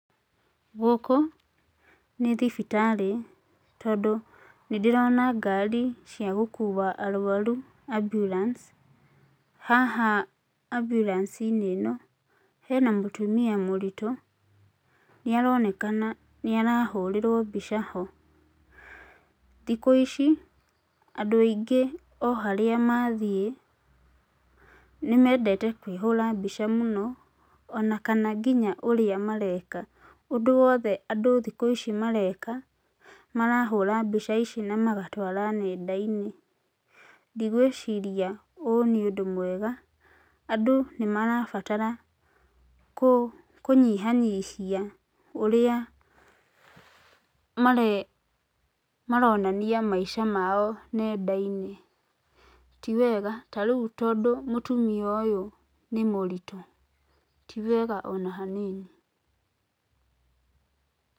Gũkũ nĩ thibitarĩ tondũ nĩndĩrona ngari cia gũkua arwaru ambulance. Haha ambiuranci-inĩ ĩno hena mũtumia mũritũ, nĩaronekana nĩ arahũrĩrwo mbica ho. Thikũ ici andũ aingĩ o harĩa mathiĩ nĩmendete kwĩhũra mbica mũno, ona kana nginya ũrĩa mareka, ũndũ wothe andũ thikũ ici mareka marahũra mbica ici na magatwara nenda-inĩ. Ndigwĩciria ũũ nĩ ũndũ mwega, andũ nĩmarabatara kũ, kũnyihanyihia ũrĩa mare, maronania maica mao nenda-inĩ. Tiwega, tarĩu tondũ mũtumia ũyũ nĩ mũritũ ti wega ona hanini .